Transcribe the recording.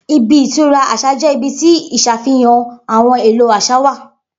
Ibi-itura àṣà jẹ́ ibi tí ìṣà fihàn àwọn èlò aṣa wa